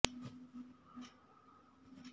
سانحہ Baldia factory case کے فیصلے کے بعد شیخ ساجد محبوب کیلئے